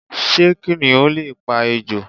Sé kìnìún lè pa ejò?